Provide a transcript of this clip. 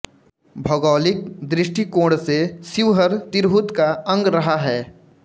भौगोलिक दृष्टिकोण से शिवहर तिरहुत का अंग रहा है